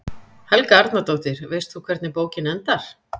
Helga Arnardóttir: Veist þú hvernig bókin endar?